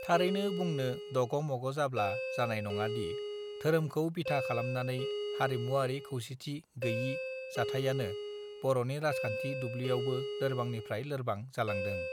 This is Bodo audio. थारैनो बुंनो दगमगजाब्ला जानाय नङादि धोरोमखौ बिथा खालामनानै हारिमुआरि खौसेथि गैयि जाथाइयानो बरनि राजखान्थि दुब्लियावबो लोरबांनिफ्राय लोरबां जालांदों